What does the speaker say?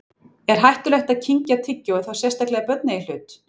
Er hættulegt að kyngja tyggjói, þá sérstaklega ef börn eiga í hlut?